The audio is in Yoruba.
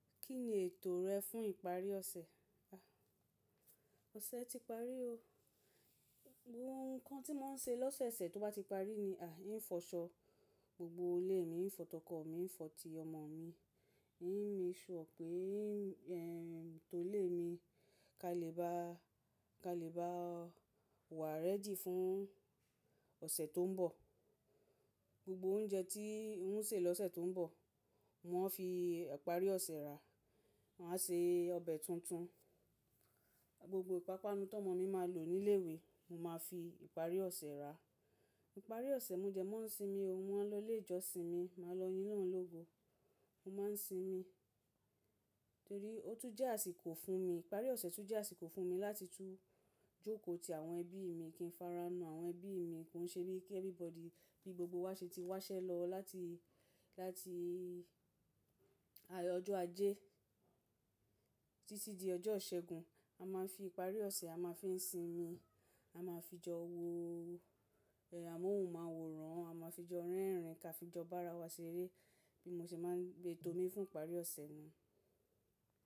Kí ni ètò rẹ fún ìparí ọ̀sẹ̀? Ọ̀sẹ̀ ti parí o. Ohun kan tí mo ń ṣe lọ́sẹ̀ ṣẹ̀ tó bá ti parí ni, eń fọṣọ gbogbo ilé mi, ń fọ tọ oko mi ń fọ ti ọmọ mi, en measure pé mo to ilé mi, ká lè bá wà ready fún ọ̀sẹ̀ tó ń bọ̀. Gbogbo oúnjẹ tí ń ṣè lọ́sẹ̀ tó ń bọ̀, ma fi ìparí ọ̀sẹ̀ rà, ma á ṣe ọbẹ̀ tuntun. Gbogbo ìpápánu ti ọmọ mi máa lò ní ilé ìwé, mo máa fi ìparí ọ̀sẹ̀ rà. Ìparí ọ̀sẹ̀ mo dẹ ma ń sinmi o, mo maa lọ ilé ìjọsìn mi, màá lọ yín olorun lógo. Mo máa ń sinmi, torí ó tún jẹ́ àsìkò fún mi. Ìparí ọ̀sẹ̀ tún jẹ́ àsìkò fún mi, láti tú jókòó ti àwọn ẹbí mi, kí ń fara mọ́ àwọn ẹbí mi. Kò ń ṣe bí ki n every body, bí gbogbo wa ṣe ti wá iṣẹ́ lọ láti ọjọ́ ajé títí di ọjọ́ ìṣẹ́gun. A máa ń fi ìparí ọ̀sẹ̀, a máa ń fi ń sinmi, a máa fi jọ wo a mo maa wòran, a máa fi jọ rẹ́rìn-ín ká fi jọ bára wa ṣeré bí mo ṣe máa ń gbé etomi fún ìparí ọ̀sẹ̀ nii.